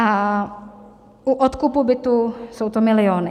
A u odkupu bytu jsou to miliony.